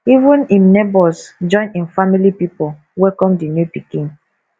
even im nebors join im family pipo welcome di new pikin